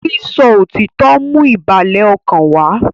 sísọ òtítọ ń mú ìbàlẹ̀ ọkàn wá